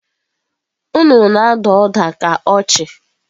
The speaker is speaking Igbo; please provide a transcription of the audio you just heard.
Nnụnụ na-ada ụda ka ọchị.